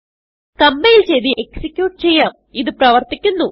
compile ചെയ്ത് execute ചെയ്യാം ഇത് പ്രവർത്തിക്കുന്നു